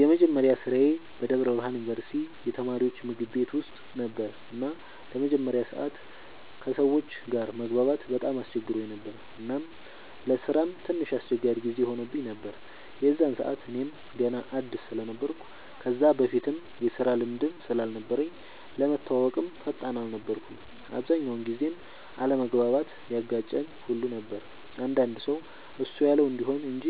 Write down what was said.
የመጀመሪያ ስራዬ በደብረ ብርሃን ዩንቨርስቲ የተማሪወች ምግብ ቤት ውስጥ ነበር እና ለመጀመሪያ ሰዓት ከሰወች ጋር መግባባት በጣም አስቸግሮኝ ነበር እናም ለስራም ትንሽ አስቸጋሪ ጊዜ ሆኖብኝ ነበር የዛን ሰዓት እኔም ገና አድስ ስለነበርኩ ከዛ በፊትም የስራ ልምድም ስላልነበረኝ ለመተወወቅም ፈጣን አልነበርኩም። አብዛኛውን ጊዜም አለመግባባት ያጋጨን ሁሉ ነበር አንዳንድ ሰው እሱ ያለው እንዲሆን እንጅ